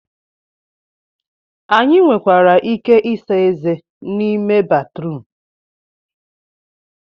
Anyị nwekwara ike ịsa ezé n'ime ime batrum